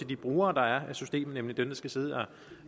de brugere der er af systemet nemlig dem der skal sidde og